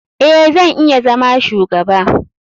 Eh, zan iya zama shugaba.